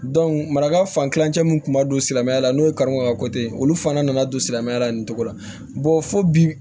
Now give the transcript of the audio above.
maraka fan kilancɛ min kun ma don silamɛya la n'o ye karikun ka ko tɛ olu fana nana don silamɛya la nin cogo la fo bi